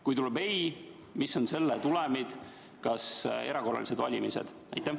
Kui tuleb ei, mis on selle tulemid, kas erakorralised valimised?